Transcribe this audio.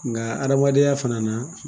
Nka adamadenya fana na